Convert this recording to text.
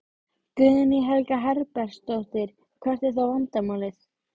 Guðný Helga Herbertsdóttir: Hvert er þá vandamálið?